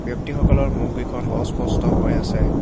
ব্যক্তিসকলৰ মুখকেইখন অস্পষ্ট হৈ আছে।